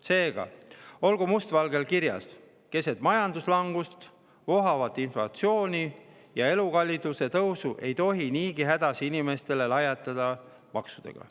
Seega olgu must valgel kirjas: keset majanduslangust, vohavat inflatsiooni ja elukalliduse tõusu ei tohi niigi hädas inimestele lajatada maksudega.